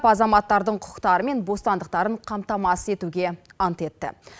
азаматтардың құқықтары мен бостандықтарын қамтамасыз етуге ант етті